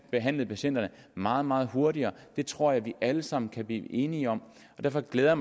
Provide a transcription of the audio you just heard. behandlet patienterne meget meget hurtigere det tror jeg vi alle sammen kan blive enige om og derfor glæder